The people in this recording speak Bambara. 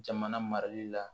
Jamana marali la